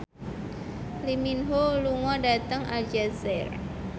Lee Min Ho lunga dhateng Aljazair